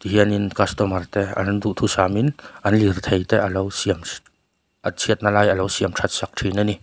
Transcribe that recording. hian in an customer te an duhthusam in an lirthei te alo siam a chhiat na lai alo siam that sak thin ani.